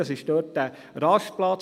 das ist dieser Rastplatz.